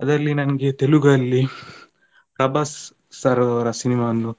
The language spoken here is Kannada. ಅದ್ರಲ್ಲಿ ನನ್ಗೆ ತೆಲುಗು ಅಲ್ಲಿ ಪ್ರಭಾಸ್ sir ಅವ್ರ cinema ವನ್ನು.